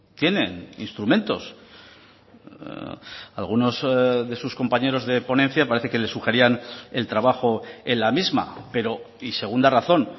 tienen instrumentos algunos de sus compañeros de ponencia parece que les sugerían el trabajo en la misma pero y segunda razón